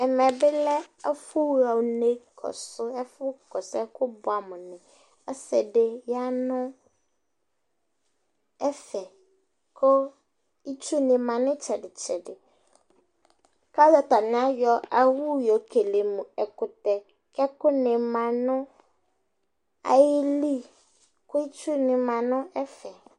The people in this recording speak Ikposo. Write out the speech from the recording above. ɛmɛ bi lɛ ɛfu ɣa unɛ kɔsu ɛfu kɔsu ɛkò boɛ amo ni ɔse di ya no ɛfɛ kò itsu ni ma no itsɛdi tsɛdi k'alo atani ayɔ owu yɔ kele no ɛkutɛ k'ɛkò ni ma no ayili kò itsu ni ma no ɛfɛ